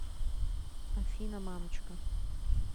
афина мамочка